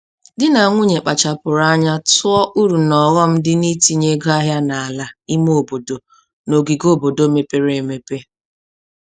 Di na nwunye kpachapụrụ anya tụọ uru na ọghọm dị n'itinye ego ahịa n'ala ime obodo na ogige obodo mepere emepe.